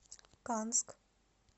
канск